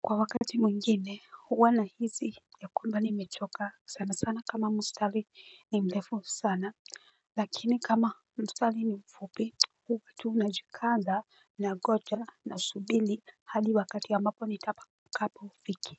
Kwa wakati mwingine huwa na hisi ya kwamba nimechoka sana sana kama mstali ni mlefu sana. Lakini kama mstali ni mfupi huwa tu na jikaza na goja na subili hadi wakati ambapo nitakapo fikiwa.